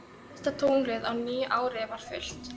Og fyrsta tunglið á nýju ári var fullt.